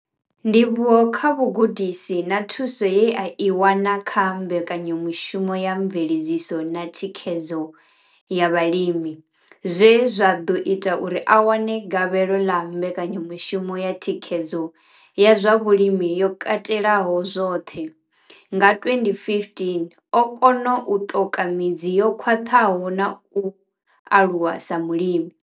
Ndivhuwo kha vhugudisi na thuso ye a i wana kha mbekanyamushumo ya mveledziso na thikhedzo ya vhalimi zwe zwa ḓo ita uri a wane gavhelo ḽa mbekanyamushumo ya thikhedzo ya zwa vhulimi yo katelaho zwoṱhe, CASP, nga 2015, o kona u ṱoka midzi yo khwaṱhaho na u aluwa sa mulimi.